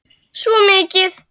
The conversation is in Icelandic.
Svo mikið.